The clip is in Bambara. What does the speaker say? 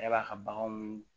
E b'a ka baganw